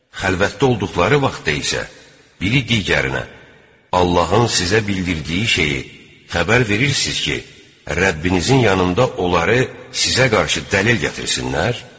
Xəlvətdə olduqları vaxtda isə biri digərinə: "Allahın sizə bildirdiyi şeyi xəbər verirsiz ki, Rəbbinizin yanında onları sizə qarşı dəlil gətirsinlər?"